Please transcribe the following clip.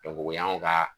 o y'anw ka